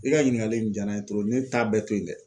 I ka ɲininkali in jaara n ye ne t'a bɛɛ to ye dɛ.